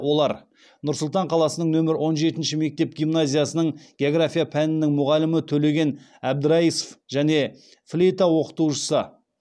олар нұр сұлтан қаласының нөмірі он жетінші мектеп гимназиясының география пәнінің мұғалімі төлеген әбдірайысов және флейта оқытушысы